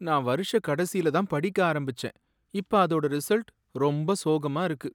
நான் வருஷக் கடைசில தான் படிக்க ஆரம்பிச்சேன், இப்ப அதோட ரிசல்ட் ரொம்ப சோகமா இருக்கு.